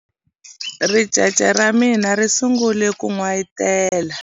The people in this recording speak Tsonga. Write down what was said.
Ricece ra mina ri sungule ku n'wayitela.